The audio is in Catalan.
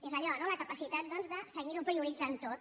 és allò no la capacitat doncs de seguir ho prioritzant tot